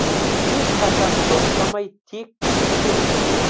ешқашан тоқтамай тек биікке ұмтылу